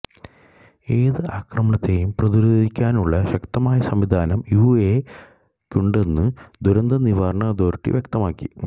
ഏത് ആക്രമണത്തെയും പ്രതിരോധിക്കാനുള്ള ശക്തമായ സംവിധാനം യുഇഎയക്കുണ്ടെന്നും ദുരന്ത നിവാരണ അതോറിറ്റി വ്യക്തമാക്കി